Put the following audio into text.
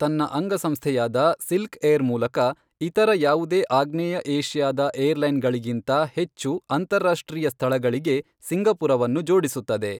ತನ್ನ ಅಂಗಸಂಸ್ಥೆಯಾದ ಸಿಲ್ಕ್ಏರ್ ಮೂಲಕ ಇತರ ಯಾವುದೇ ಆಗ್ನೇಯ ಏಶಿಯಾದ ಏರ್ಲೈನ್ ಗಳಿಗಿಂತ ಹೆಚ್ಚು ಅಂತಾರಾಷ್ಟ್ರೀಯ ಸ್ಥಳಗಳಿಗೆ ಸಿಂಗಪುರವನ್ನು ಜೋಡಿಸುತ್ತದೆ.